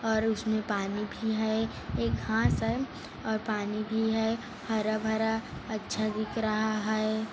और उसमें पानी भी है एक घास है और पानी भी है हरा-भरा अच्छा दिख रहा है।